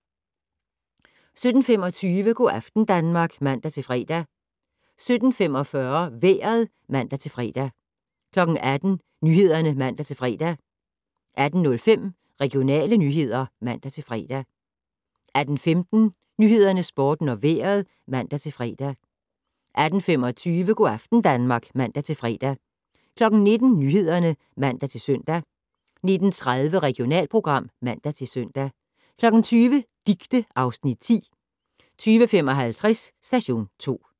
17:25: Go' aften Danmark (man-fre) 17:45: Vejret (man-fre) 18:00: Nyhederne (man-fre) 18:05: Regionale nyheder (man-fre) 18:15: Nyhederne, Sporten og Vejret (man-fre) 18:25: Go' aften Danmark (man-fre) 19:00: Nyhederne (man-søn) 19:30: Regionalprogram (man-søn) 20:00: Dicte (Afs. 10) 20:55: Station 2